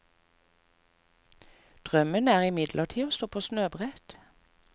Drømmen er imidlertid å stå på snøbrett.